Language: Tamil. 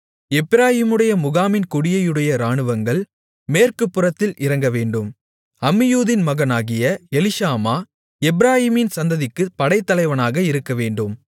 எப்பிராயீமுடைய முகாமின் கொடியையுடைய இராணுவங்கள் மேற்கு புறத்தில் இறங்கவேண்டும் அம்மியூதின் மகனாகிய எலிஷாமா எப்பிராயீமின் சந்ததிக்குப் படைத்தலைவனாக இருக்கவேண்டும்